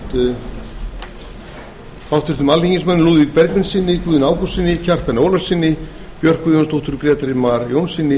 ásamt háttvirtum alþingismönnum lúðvíki bergvinssyni guðna ágústssyni kjartani ólafssyni björk guðjónsdóttur grétari mar jónssyni